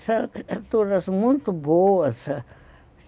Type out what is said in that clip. Essas criaturas muito boas.